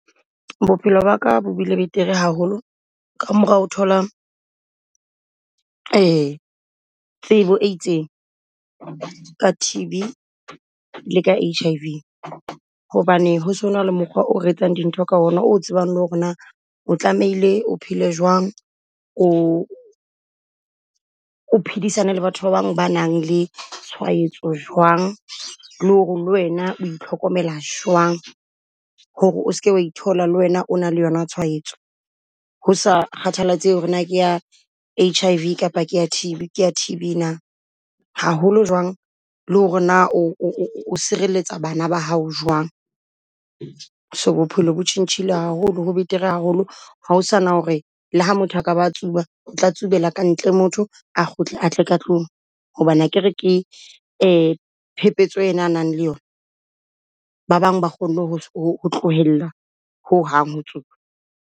Bophelo baka bo bile betere haholo ka mora ho thola tsebo e itseng, ka T_B le ka H_I_V. Hobane ho so na le mokgwa o re etsang dintho ka ona o tsebang le ho re na o tlamehile o phele jwang? O o phedisane le batho ba bang ba nang le tshwaetso jwang? Le ho re le wena o itlhokomela jwang hore o seke wa ithola le wena o na le yona tshwaetso. Ho sa kgathalatsehe ho re na ke ya H_I_V kapa ke ya T_B, ke ya T_B na. Haholo jwang le ho re na o o o o sirelletsa bana ba hao jwang? So bophelo bo tjhentjhile haholo, ho betere haholo ha o sa na ho re le ha motho a ka ba tsuba, o tla tsubela ka ntle motho a kgutle a tle ka tlung. Hobane akere ke phephetso ena a nang le yona, ba bang ba kgonne ho ho ho tlohella ho hang ho tsuba.